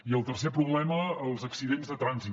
i el tercer problema els accidents de trànsit